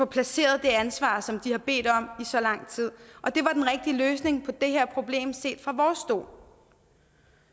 placeret det ansvar som de har bedt om i så lang tid det var den rigtige løsning på det her problem set fra vores stol